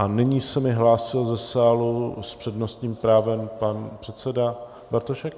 A nyní se mi hlásil ze sálu s přednostním právem pan předseda Bartošek.